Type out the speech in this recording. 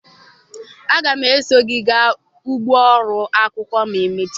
Aga m eso gị gaa ugbo ụlọ akwụkwọ ma emechaa.